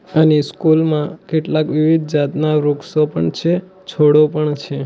અને સ્કૂલ માં કેટલાક વિવિધ જાતના વૃક્ષો પણ છે છોડો પણ છે.